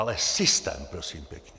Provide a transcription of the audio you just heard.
Ale systém, prosím pěkně!